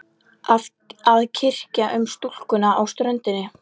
Að kyrja um stúlkuna á ströndinni.